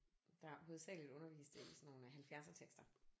Der hovedsageligt underviste i sådan nogle halvfjerdser tekster